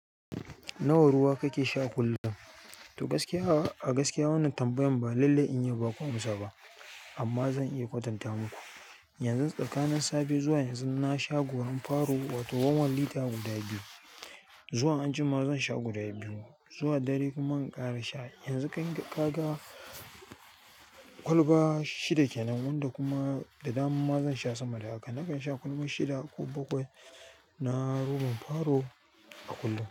Nawa ruwa kake sha kullum? To gaskiya a gaskiya wannan tambayan ba lallai in yi baku amsa ba amma zan iya kwatanta muku. Yanzu tsakanin safe zuwa yanzu na sha gorar faro wato one-one lita guda biyu zuwa anjima zan sha guda biyu zuwa dare kuma in ƙara sha. Yanzu kaga kwalba shida kenan wanda kuma da dare ma zan sha sama da haka nakan sha kwalba shida ko bakwai na robar faro a kullum.